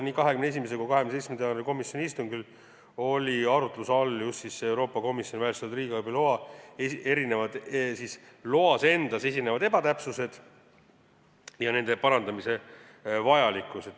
Nii 21. kui ka 27. jaanuari komisjoni istungil olid arutluse all Euroopa Komisjoni väljastatud riigiabi loas esinevad ebatäpsused ja nende parandamise vajalikkus.